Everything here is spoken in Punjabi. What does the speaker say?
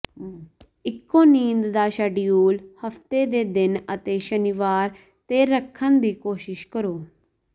ਇੱਕੋ ਨੀਂਦ ਦਾ ਸ਼ੈਡਯੂਲ ਹਫ਼ਤੇ ਦੇ ਦਿਨ ਅਤੇ ਸ਼ਨੀਵਾਰ ਤੇ ਰੱਖਣ ਦੀ ਕੋਸ਼ਿਸ਼ ਕਰੋ